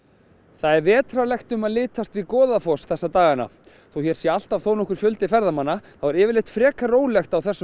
það er vetrarlegt um að litast við Goðafoss þessa dagana þótt alltaf sé nokkur fjöldi ferðamanna hér er yfirleitt frekar rólegt á þessum